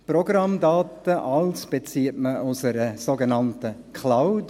Programmdaten und alles bezieht man aus einer sogenannten Cloud.